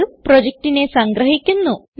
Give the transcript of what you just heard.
ഇത് പ്രൊജക്റ്റിനെ സംഗ്രഹിക്കുന്നു